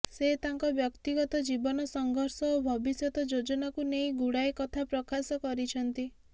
ସେ ତାଙ୍କ ବ୍ୟକ୍ତିଗତ ଜୀବନ ସଂଘର୍ଷ ଓ ଭବିଷ୍ୟତ ଯୋଜନାକୁ ନେଇ ଗୁଡ଼ାଏ କଥା ପ୍ରକାଶ କରିଛନ୍ତି